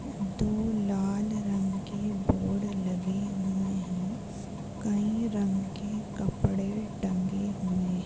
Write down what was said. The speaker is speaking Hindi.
दो लाल रंग के बोर्ड लगे हुए है कई रंग के कपड़े टंगे हुए--